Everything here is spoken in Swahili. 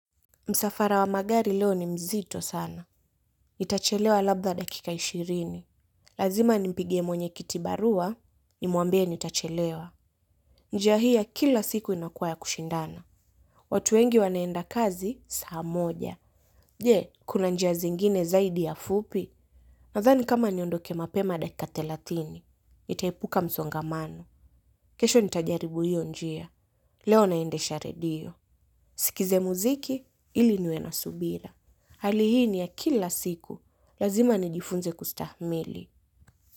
Msafara wa magari leo ni mzito sana. Itachelewa labda dakika ishirini. Lazima nimpigie mwenye kitibarua, nimwambie nitachelewa. Njia hii ya kila siku inakuwa ya kushindana. Watu wengi wanaenda kazi, saa moja. Je, kuna njia zingine zaidi ya fupi. Nadhani kama niondoke mapema dakika thelathini. Nitaepuka msongamano. Kesho nitajaribu hiyo njia. Leo naendesha redio. Nisikize muziki, ili niwe na subira. Hali hii ni ya kila siku, lazima nijifunze kustahamili.